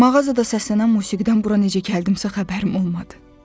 Mağazadan səslənən musiqidən bura necə gəldimsə xəbərim olmadı.